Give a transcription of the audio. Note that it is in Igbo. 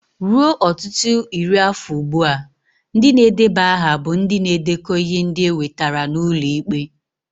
Ruo ọtụtụ iri afọ ugbu a, ndị na-edeba aha bụ ndị na-edekọ ihe ndị e wetara n'ụlọ ikpe.